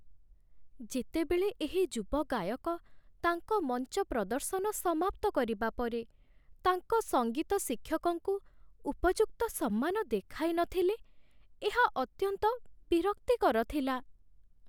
ଯେତେବେଳେ ଏହି ଯୁବ ଗାୟକ ତାଙ୍କ ମଞ୍ଚ ପ୍ରଦର୍ଶନ ସମାପ୍ତ କରିବା ପରେ ତାଙ୍କ ସଙ୍ଗୀତ ଶିକ୍ଷକଙ୍କୁ ଉପଯୁକ୍ତ ସମ୍ମାନ ଦେଖାଇନଥିଲେ, ଏହା ଅତ୍ୟନ୍ତ ବିରକ୍ତିକର ଥିଲା